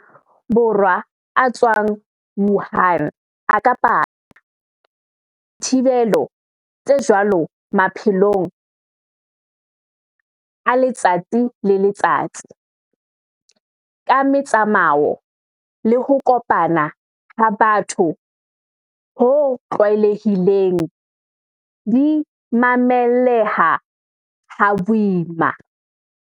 Borwa a tswang Wuhan a ka paka, dithibelo tse jwalo maphelong a letsatsi le letsatsi, ka metsamao le ho kopana ha batho ho tlwaelehileng, di mamelleha ha boima.